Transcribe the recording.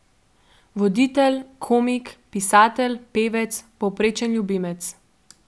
Voditelj, komik, pisatelj, pevec, povprečen ljubimec ...